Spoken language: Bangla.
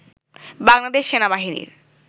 বাংলাদেশ সেনাবাহিনীর